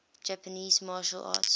japanese martial arts